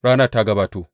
Ranar ta gabato!